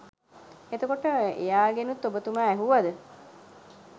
එතකොට එයාගෙනුත් ඔබතුමා ඇහුවද